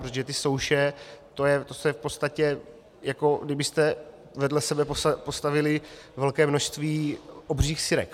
Protože ty souše, to je v podstatě, jako kdybyste vedle sebe postavili velké množství obřích sirek.